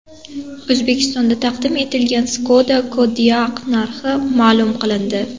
O‘zbekistonda taqdim etilgan Skoda Kodiaq narxi ma’lum qilindi.